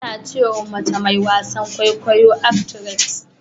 Ana ce wa mace mai wasan Kwaikwayo "actress".